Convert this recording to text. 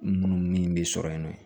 Munumunu min bɛ sɔrɔ yen nɔ